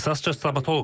İxtisasca stomatoloqam.